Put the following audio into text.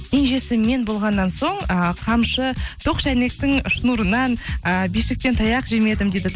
кенжесі мен болғаннан соң ыыы қамшы тоқ шәйнектің шнурынан ыыы бишіктен таяқ жемедім дейді